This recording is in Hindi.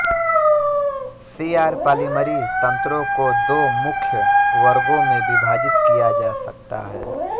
सीआर पॉलिमरी तंत्रों को दो मुख्य वर्गों में विभाजित किया जा सकता है